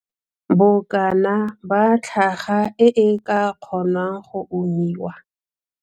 Bokana ba tlhaka e e ka kgonwang go umiwa.